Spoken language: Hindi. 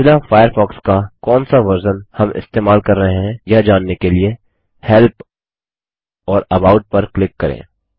मोज़िला फ़ायरफ़ॉक्स का कौन सा वर्ज़न हम इस्तेमाल कर रहे हैं यह जानने के लिए हेल्प और अबाउट पर क्लिक करें